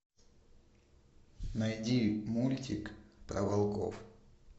найди мультик про волков